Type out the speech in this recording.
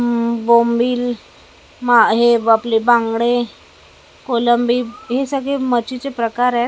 अ बोंबील मा हे आपले बांगडे कोलंबी हे सगळे मच्छीचे प्रकार आहेत .